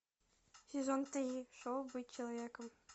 сезон три шоу быть человеком